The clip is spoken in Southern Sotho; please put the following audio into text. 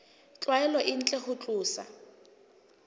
tlwaelo e ntle ho tlosa